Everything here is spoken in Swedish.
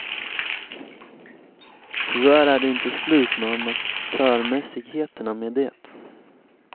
Tyvärr är det inte slut med amatörmässigheterna med det.